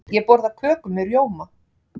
Ég borða köku með rjóma.